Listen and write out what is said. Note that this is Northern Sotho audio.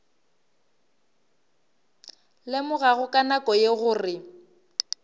lemogago ka nako ye gore